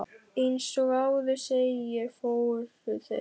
Eins og áður segir, fóru þeir